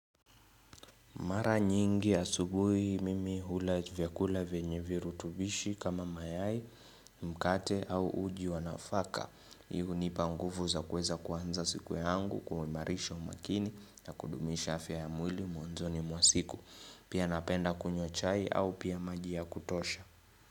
Mara nyingi asubuhi mimi hula vyakula vyenye viru tubishi kama mayai mkate au uji wanafaka. Hii unipa nguvu za kuweza kuanza siku yangu kuimarisha umakini na kudumisha afya ya mwili mwanzoni mwasiku. Pia napenda kunywa chai au pia maji ya kutosha.